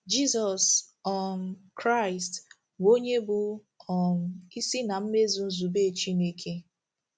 Jizọs um Kraịst bụ onye bụ́ um isi na mmezu nzube Chineke.